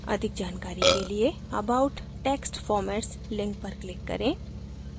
अधिक जानकारी के लिए about text formats link पर click करें